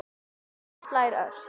Hjartað slær ört.